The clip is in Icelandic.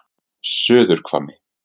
Suðurhvammi